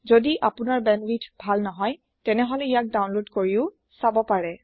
যদি আপোনাৰ বেণ্ডৱিডথ ভাল নহয় তেতিয়াহলে ইয়াক ডাউনলোদ কৰিও চাব পাৰে